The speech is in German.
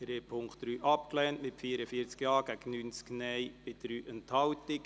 Sie haben den Punkt 3 abgelehnt mit 44 Ja- gegen 90 Nein-Stimmen bei 3 Enthaltungen.